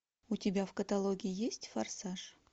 у тебя в каталоге есть форсаж